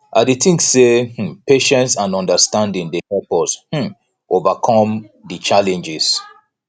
i dey think say um patience and understanding dey help us um overcome di challenges